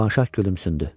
Şirvanşah gülümsündü.